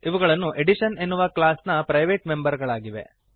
ಇವುಗಳು ಅಡಿಷನ್ ಎನ್ನುವ ಕ್ಲಾಸ್ ನ ಪ್ರೈವೇಟ್ ಮೆಂಬರ್ ಗಳಾಗಿವೆ